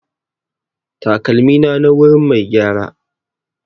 Takalmina na wurin mai gyara.